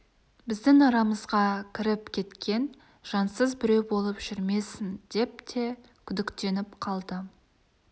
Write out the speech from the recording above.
біздің арамызға кіріп кеткен жансыз біреу болып жүрмесін деп те күдіктеніп қалды